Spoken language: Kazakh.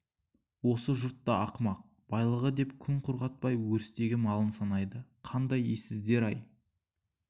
осы жұрт та ақымақ байлығы деп күн құрғатпай өрістегі малын санайды қандай ессіздер-ай